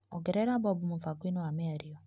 Ongerera Bobu mũbango-inĩ wa mĩario.